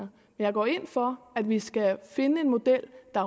jeg går ind for at vi skal finde en model der